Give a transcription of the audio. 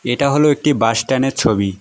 এটা হল একটি বাসট্যান -এর ছবি।